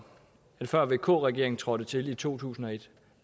at før vk regeringen trådte til i to tusind og et